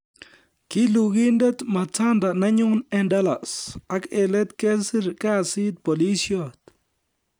Kilugindet Matanda nenyun en Dallas, ak en let kesir kasit polisiot